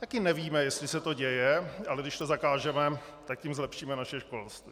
Taky nevíme, jestli se to děje, ale když to zakážeme, tak tím zlepšíme naše školství.